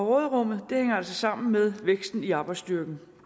råderummet hænger altså sammen med væksten i arbejdsstyrken